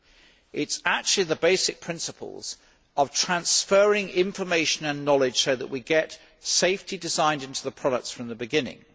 it is actually the basic principles of transferring information and knowledge so that we get safety designed into the products from the beginning.